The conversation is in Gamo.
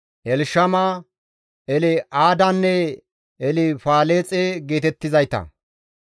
Elshama, El7aadanne Elfaleexe geetettizayta.